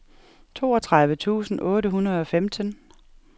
toogtredive tusind otte hundrede og femten